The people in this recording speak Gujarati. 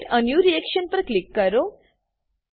ક્રિએટ એ ન્યૂ રિએક્શન પર ક્લિક કરો